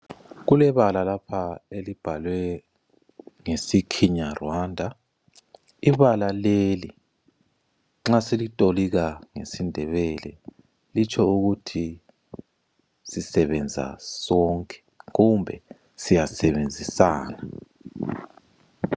Kulebala lapha elibhalwe ngesi Kinyarwanda. Ibala leli nxa silitolika ngesiNdebele, litsho ukuthi sisebenza sonke kumbe siyasebenzisana.